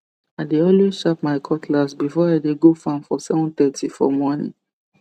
i dey alway sharp my cutlass before i dey go farm for 730 for morning